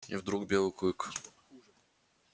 и вдруг белый клык